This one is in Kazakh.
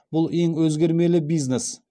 бұл ең өзгермелі бизнес